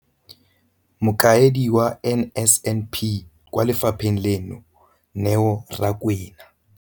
Mokaedi wa NSNP kwa lefapheng leno, Neo Rakwena.